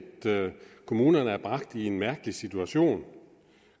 kommunerne er bragt i en mærkelig situation